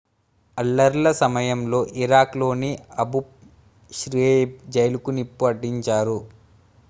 అల్లర్ల సమయంలో ఇరాక్ లోని Abu Ghraib జైలుకు నిప్పు అంటించారు